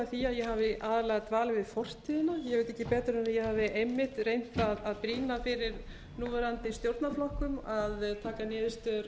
því að ég hafi aðallega dvalið við fortíðina ég veit ekki betur en ég hafi einmitt reynt að brýna fyrir núverandi stjórnarflokkum að taka niðurstöður